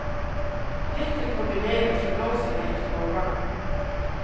Läckert kombinerat från nosen ner till hovarna.